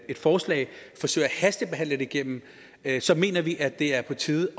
forslag forsøger at hastebehandle det igennem så mener vi at det er på tide at